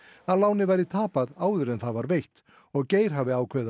að lánið væri tapað áður en það var veitt og Geir hafi ákveðið að